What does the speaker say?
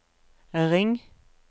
ring